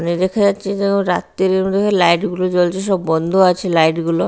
দূরে দেখা যাচ্ছে যেন রাত্তিরে ওখানে লাইট -গুলো জ্বলছে সব বন্ধ আছে লাইট -গুলো।